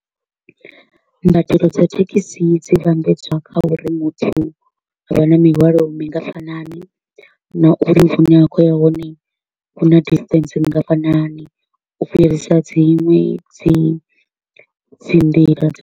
Mbadelo dza thekhisi dzi vhambedzwa kha uri muthu a vha na mihwalo mingafhanani, na uri hu ne a kho u ya hone hu na distance nngafhani u fhirisa dzinwe dzi dzi nḓila dza .